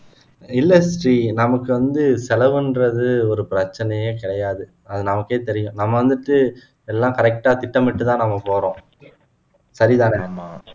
இல்ல ஸ்ரீ நமக்கு வந்து செலவு என்றது ஒரு பிரச்சினையே கிடையாது அது நமக்கே தெரியும் நம்ம வந்துட்டு எல்லாம் correct ஆ திட்டமிட்டு தான் நம்ம போறோம் சரிதானே